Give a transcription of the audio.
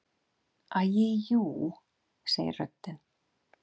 Æi jú, segir röddin.